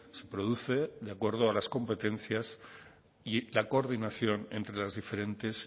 se produce de acuerdo a las competencias y la coordinación entre las diferentes